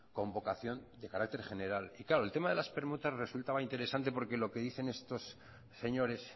con vocación de carácter general y claro el tema de las permutas resultaba interesante porque lo que dicen estos señores